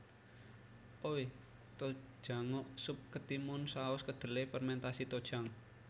Oi tojangguk sup ketimun saus kedelai fermentasi tojang